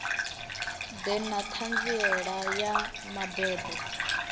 ḓe na ṱhanziela ya mabebo